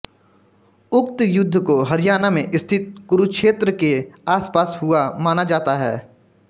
उक्त युद्ध को हरियाणा में स्थित कुरुक्षेत्र के आसपास हुआ माना जाता है